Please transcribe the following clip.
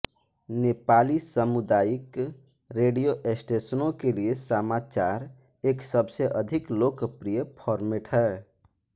नेपाली सामुदायिक रेडियो स्टेशनों के लिए समाचार एक सबसे अधिक लोकप्रिय फॉर्मेट है